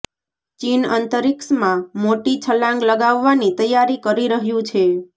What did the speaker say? ચીન અંતરીક્ષમાં મોટી છલાંગ લગાવવાની તૈયારી કરી રહ્યું છે